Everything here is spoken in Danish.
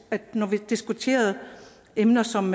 at når vi diskuterede emner som